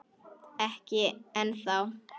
Ekki ennþá.